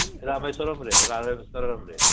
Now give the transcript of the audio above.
ରାମେଶ୍ୱରମ ରେ ରାମେଶ୍ୱରମ ରେ